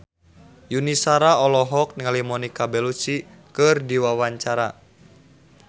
Yuni Shara olohok ningali Monica Belluci keur diwawancara